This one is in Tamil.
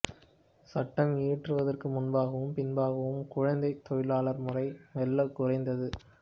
சட்டம் இயற்றுவதற்கு முன்பாகவும் பின்பாகவும் குழந்தைத் தொழிலாளர் முறை மெல்ல குறைந்தது